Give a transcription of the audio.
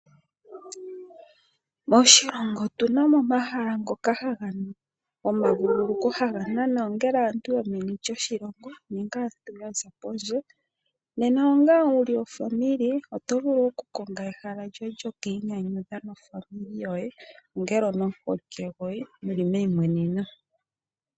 Moshilongo otu na mo omahala ngoka gomavulukukilo haga nana ongele aantu yo meni lyoshilongo, nenge aantu ya za pondje. Nena onga mu li aanegumbo oto vulu okumona ehala lyoye lyo kwiinyanyudha naanegumbo yoye, nenge nomuholike gwoye mu li meimweneneno.